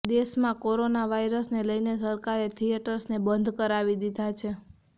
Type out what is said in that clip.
દેશમાં કોરોના વાયરસને લઈને સરકારે થિયેટર્સને બંધ કરાવી દીધા છે